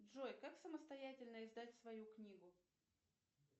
джой как самостоятельно издать свою книгу